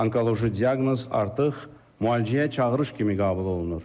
Onkoloji diaqnoz artıq müalicəyə çağırış kimi qəbul olunur.